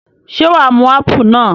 Ṣé wà á mu ápù náà?